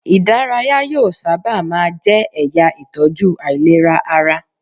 Ìdárayá yóò sábà má a jẹ́ ẹ̀yà ìtọ́jú àìlera ara.